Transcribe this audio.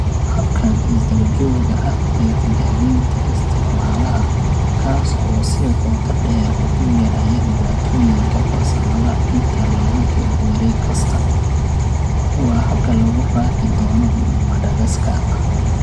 Habkan isdabajooga ah ee tijaabinta isticmaalaha, kaas oo si qoto dheer u galaya dhibaatooyinka farsamada inta lagu jiro wareeg kasta, waa habka lagu raaci doono Madagascar.